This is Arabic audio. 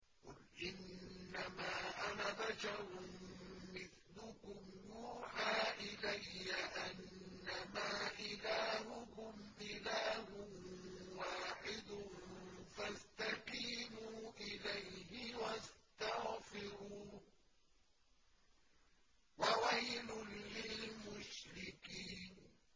قُلْ إِنَّمَا أَنَا بَشَرٌ مِّثْلُكُمْ يُوحَىٰ إِلَيَّ أَنَّمَا إِلَٰهُكُمْ إِلَٰهٌ وَاحِدٌ فَاسْتَقِيمُوا إِلَيْهِ وَاسْتَغْفِرُوهُ ۗ وَوَيْلٌ لِّلْمُشْرِكِينَ